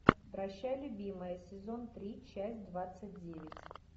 прощай любимая сезон три часть двадцать девять